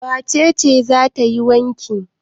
Wace ce za ta yi wanki?